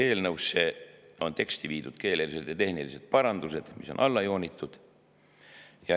Eelnõu teksti on viidud keelelised ja tehnilised parandused, mis on alla joonitud.